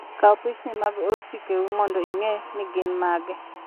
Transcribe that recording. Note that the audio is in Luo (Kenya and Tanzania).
Kaw pichni mag osikeu mondo ing'e ni gin mage.